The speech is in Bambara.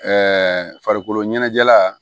farikolo ɲɛnajɛla